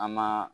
An ma